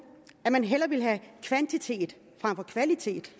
at man hellere ville have kvantitet frem for kvalitet